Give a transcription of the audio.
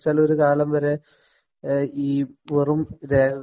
ലൊരു കാലം വരെ ഈ വെറും രേ